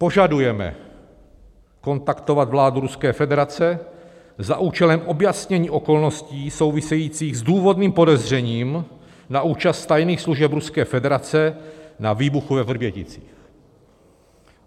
Požadujeme kontaktovat vládu Ruské federace za účelem objasnění okolností souvisejících s důvodným podezřením na účast tajných služeb Ruské federace na výbuchu ve Vrběticích."